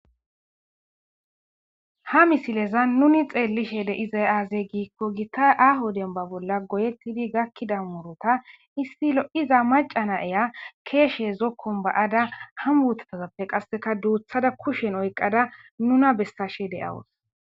ha misileza nuni xeellishe deizay aazey giikko gita aaho denba bolla goyettidi gakkida murota issi lo7iza macana eya keeshe zokkon ba7ada ham uotatazappe qasseka duuthada kushen oyqada nuna bessashe deyawos